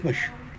60.